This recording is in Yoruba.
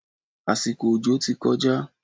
Àsìkò òjò ti kọjá.